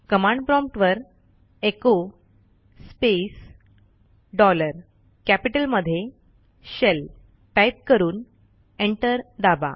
command prompt वरecho space dollar कॅपिटलमध्ये shell type करून एंटर दाबा